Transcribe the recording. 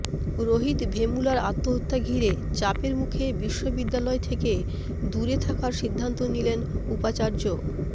রোহিত ভেমুলার আত্মহত্যা ঘিরে চাপের মুখে বিশ্ববিদ্যালয় থেকে দূরে থাকার সিদ্ধান্ত নিলেন উপাচার্য